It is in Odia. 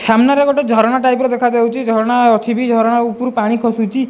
ସାମ୍ନାରେ ଗୋଟେ ଝରଣା ଟାଇପ୍ ର ଦେଖାଯାଉଚି ଝରଣା ଅଛି ବି ଝରଣା ଉପରୁ ପାଣି ଖସୁଚି।